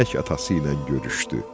Geynək atası ilə görüşdü.